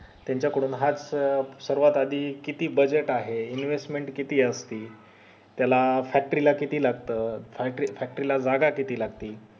त्याच्या कडून हाच सर्वात आधी किती budget आहे investment किती असते त्याला factory ला किती लागत factory ला जागा किती लागते